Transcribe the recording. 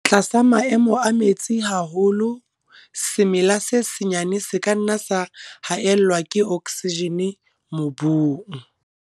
Tlasa maemo a metsi haholo, semela se senyane se ka nna sa haellwa ke okesijene mobung.